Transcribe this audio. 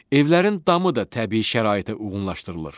Evlərin damı da təbii şəraitə uyğunlaşdırılır.